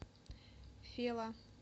фела